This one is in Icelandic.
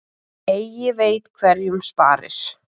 Eigi veit hverjum sparir.